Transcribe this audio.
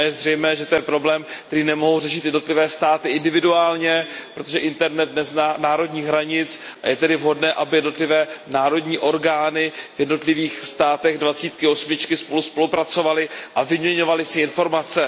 A je zřejmé, že to je problém, který nemohou řešit jednotlivé státy individuálně, protože internet nezná národních hranic, a je tedy vhodné, aby jednotlivé národní orgány v jednotlivých státech osmadvacítky spolu spolupracovaly a vyměňovaly si informace.